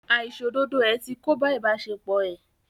Àìṣòdodo ẹ̀ ti kóbá ìbáṣepọ̀ ẹ́.